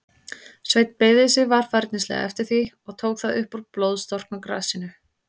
Sveinn beygði sig varfærnislega eftir því, og tók það upp úr blóðstorknu grasinu.